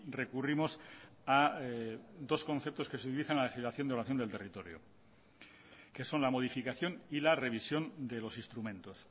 recurrimos a dos conceptos que se utilizan en la legislación de evaluación del territorio que son la modificación y la revisión de los instrumentos